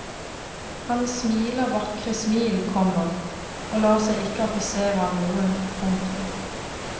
Han smiler vakre smil, komma og lar seg ikke affisere av noe. punktum